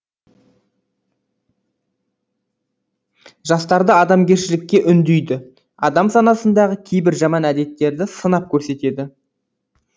жастарды адамгершілікке үндейді адам санасындағы кейбір жаман әдеттерді сынап көрсетеді